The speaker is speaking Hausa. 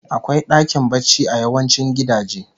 Akwai dakin barci a yawancin gidaje